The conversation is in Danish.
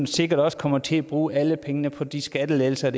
sikkert også kommer til at bruge alle pengene på de skattelettelser